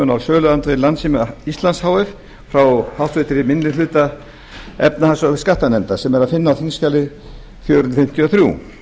á söluandvirði landssíma íslands h f frá háttvirtri minni hluta efnahags og skattanefndar sem er að finna á þingskjali fjögur hundruð fimmtíu og þrjú